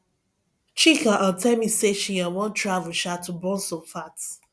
chika um tell me say she um wan travel um to burn some fat